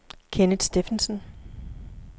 Kenneth Steffensen